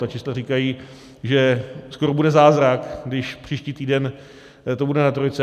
Ta čísla říkají, že to bude zázrak, když příští týden to bude na trojce.